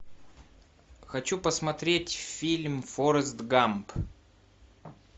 хочу посмотреть фильм форест гамп